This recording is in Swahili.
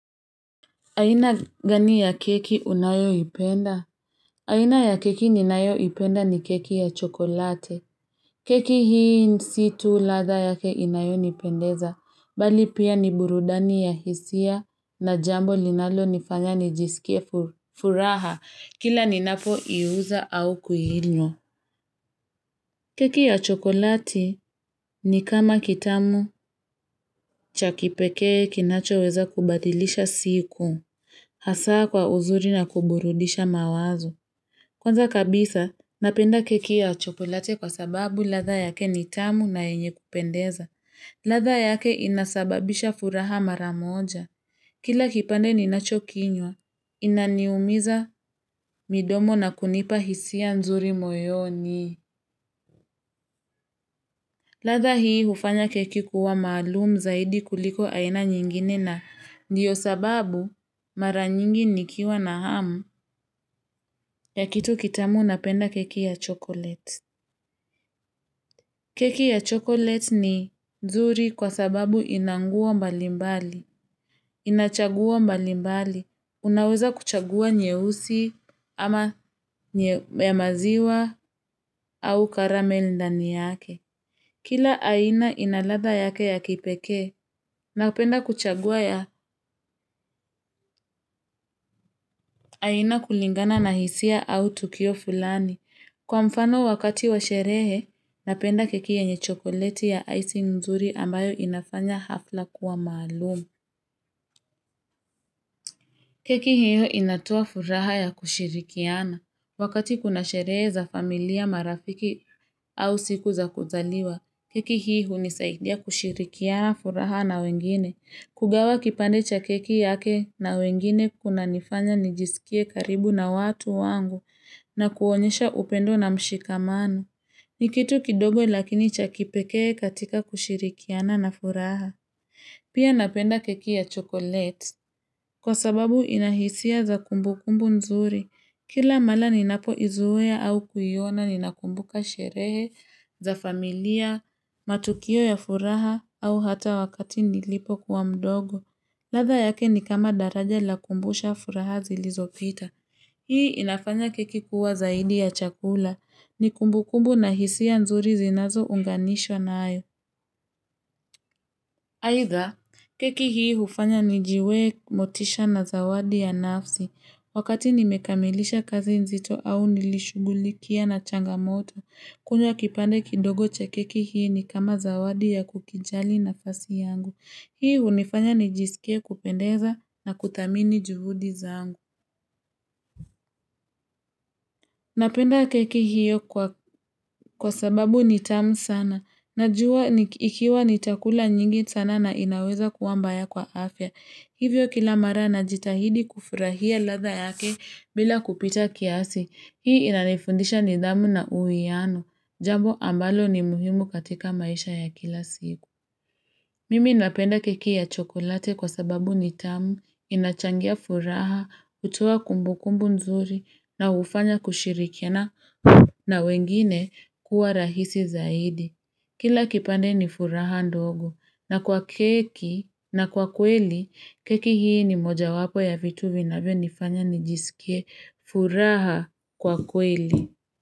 Aina gani ya keki unayo ipenda? Aina ya keki ninayo ipenda ni keki ya chokolate. Keki hii nsi tu latha yake inayonipendeza. Bali pia ni burudani ya hisia na jambo linalo nifanya nijisikie furaha. Kila ninapo iuza au kuhilwa. Keki ya chokolati ni kama kitamu cha kipekee kinachoweza kubadhilisha siku. Hasaa kwa uzuri na kuburudisha mawazo Kwanza kabisa, napenda keki ya chocolate kwa sababu latha yake nitamu na yenye kupendeza latha yake inasababisha furaha maramoja Kila kipande ninachokinywa, inaniumiza midomo na kunipa hisia nzuri moyoni latha hii hufanya keki kuwa malumu zaidi kuliko aina nyingine na Ndiyo sababu mara nyingi nikiwa na hamu ya kitu kitamu napenda keki ya chokolete. Keki ya chokolete ni zuri kwa sababu inangua mbalimbali, inachagua mbalimbali. Unaweza kuchagua nyehusi ama nye maziwa au karame lindani yake. Kila aina ina ladha yake ya kipeke, napenda kuchagua ya aina kulingana na hisia au tukio fulani. Kwa mfano wakati wa sherehe, napenda keki yenye chokolete ya icing mzuri ambayo inafanya hafla kuwa maalumu. Keki hiyo inatoa furaha ya kushirikiana. Wakati kuna sherehe za familia marafiki au siku za kuzaliwa, keki hiyo nisaidia kushirikiana furaha na wengine. Kugawa kipande cha keki yake na wengine kuna nifanya nijisikie karibu na watu wangu na kuonyesha upendo na mshikamano. Ni kitu kidogo lakini chakipekee katika kushirikiana na furaha. Pia napenda keki ya chokolete. Kwa sababu inahisia za kumbukumbu nzuri. Kila mala ninapoizuwea au kuyona ninakumbuka sherehe, za familia, matukio ya furaha au hata wakati nilipokuwa mdogo. Latha yake ni kama daraja la kumbusha furaha zilizopita. Hii inafanya keki kuwa zaidi ya chakula. Ni kumbu kumbu na hisiya nzuri zinazounganishwa nayo. Aitha, keki hii hufanya nijiwe motisha na zawadi ya nafsi. Wakati nimekamilisha kazi nzito au nilishugulikia na changamoto. Kunywa kipande kidogo cha keki hii ni kama zawadi ya kukijali nafasi yangu. Hii hunifanya nijisikie kupendeza na kutamini juhudi zangu. Napenda keki hii kwa sababu nitamu sana. Najua ikiwa nitakula nyingi sana na inaweza kuwa mbaya kwa afya. Hivyo kila mara najitahidi kufurahia latha yake bila kupita kiasi. Hii inanifundisha nidhamu na uuiano. Jambo ambalo ni muhimu katika maisha ya kila siku. Mimi napenda keki ya chokolate kwa sababu nitamu. Nachangia furaha, utu wa kumbukumbu nzuri na ufanya kushirikiana na wengine kuwa rahisi zaidi. Kila kipande ni furaha ndogo na kwa keki na kwa kweli keki hii ni moja wapo ya vitu vinavyonifanya nijisikie furaha kwa kweli.